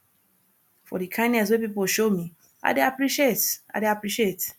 for di kindness wey pipo show me i dey appreciate i dey appreciate